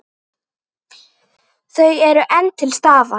Þau eru enn til staðar.